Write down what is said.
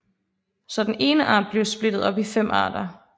Så den ene art blev splittet op i fem arter